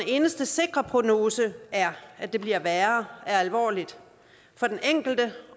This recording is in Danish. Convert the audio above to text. eneste sikre prognose er at det bliver værre er alvorligt for den enkelte